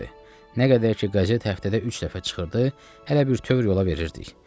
Nə qədər ki qazet həftədə üç dəfə çıxırdı, hələ bütn yola verirdik.